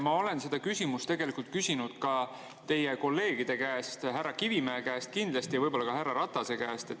Ma olen seda küsimust tegelikult küsinud ka teie kolleegide käest, härra Kivimäe käest kindlasti ja võib-olla ka härra Ratase käest.